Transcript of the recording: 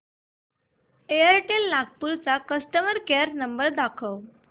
Airtel Nagpur चा customer care number दाखव